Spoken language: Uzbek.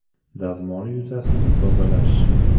Dazmol yuzasini tozalash .